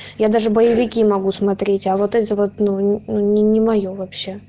я даже боевики могу смотреть а вот это вот ну н не моё вообще